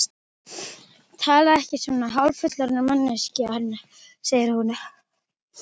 Talaðu ekki svona, hálffullorðin manneskjan, segir hún.